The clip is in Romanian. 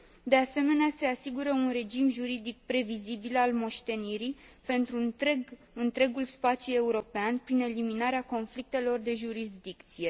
De asemenea, se asigură un regim juridic previzibil al moștenirii pentru întregul spațiu european, prin eliminarea conflictelor de jurisdicție.